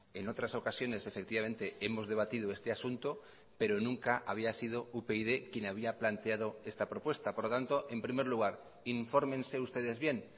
en otras ocasiones efectivamente hemos debatido este asunto pero nunca había sido upyd quien había planteado esta propuesta por lo tanto en primer lugar infórmense ustedes bien